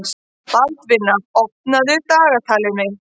Baldvina, opnaðu dagatalið mitt.